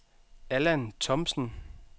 Allan Thomsen